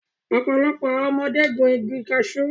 Ọ̀pọ̀lọpọ̀ àwọn ọmọdé gun igi kashu